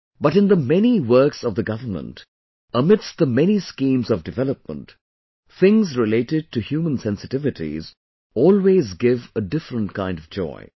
But in the many works of the government, amidst the many schemes of development, things related to human sensitivities always give a different kind of joy